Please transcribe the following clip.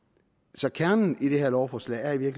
så kernen i det her lovforslag er i